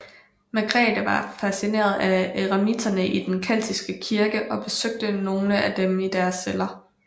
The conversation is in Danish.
Margrethe var fascineret af eremitterne i den keltiske kirke og besøgte nogle af dem i deres celler